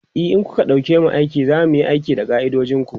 e in kuka ɗauke mu aiki zamuyi aiki da ka'idojinku